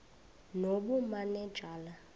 nobumanejala